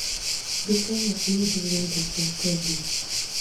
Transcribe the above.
Nduka iyo ĩĩyũire indo cia kwendia